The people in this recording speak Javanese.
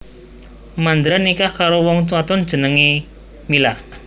Mandra nikah karo wong wadon kang jenengé Mila